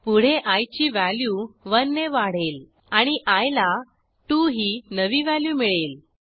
पुढे आय ची व्हॅल्यू 1 ने वाढेल आणि आय ला 2 ही नवी व्हॅल्यू मिळेल